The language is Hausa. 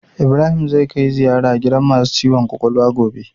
Ibrahim zai kai ziyara gidan masu ciwon kwakwalwa gobe